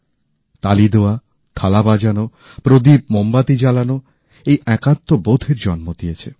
তালি দেওয়া থালা বাজানো প্রদীপ মোমবাতি জ্বালানো এই একাত্মবোধের জন্ম দিয়েছে